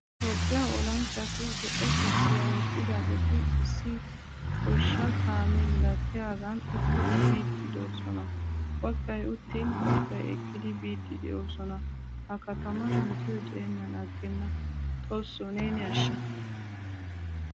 Toophphiyaa olanchchatu zo'o kopiya wottidageti issi goshsha kaame milatiyagan uttidi biidi de'osona. Baggay uttin baggaay eqqidi biidi de'osona. Ha kataman metoy de'enan agenna. Xoosso neeni asha.